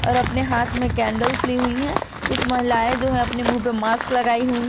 और अपने हाथ में कैंडल्स ली हुई है कुछ महिलाएं जो है अपने मुंह पे मास्क लगाई हुई है।